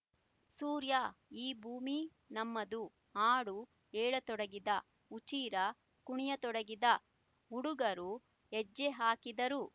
ಸೂರ್ಯ ಈ ಭೂಮಿ ನಮ್ಮದು ಹಾಡು ಹೇಳತೊಡಗಿದ ಹುಚ್ಚೀರ ಕುಣಿಯತೊಡಗಿದ ಹುಡುಗರು ಹೆಜ್ಜೆ ಹಾಕಿದರು